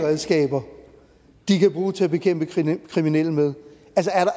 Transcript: redskaber de kan bruge til at bekæmpe kriminelle med